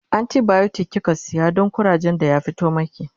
antibiotic kika saya Dan kurajen da ya fito maki?